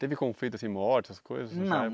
Teve conflito assim, morte, essas coisas? Não